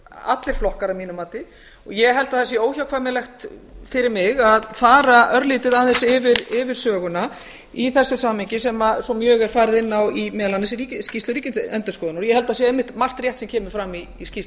allir flokkar að mínu mati ég held að það sé óhjákvæmilegt fyrir mig að fara örlítið aðeins yfir söguna í þessu samhengi sem mjög er farið inn á í meðal annars skýrslu ríkisendurskoðunar ég held að sé einmitt margt rétt sem kemur fram í skýrslu